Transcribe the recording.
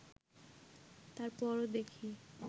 তার পরও দেখি